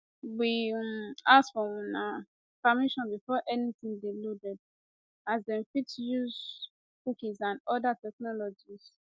we um ask for una um permission before anytin dey loaded as dem fit dey use cookies and oda technologies